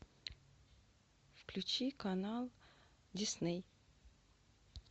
включи канал дисней